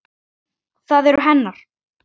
Það eru hennar.